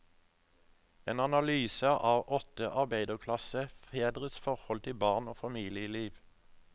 En analyse av åtte arbeiderklassefedres forhold til barn og familieliv.